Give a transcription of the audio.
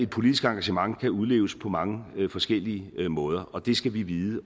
politisk engagement kan udleves på mange forskellige måder og det skal vi vide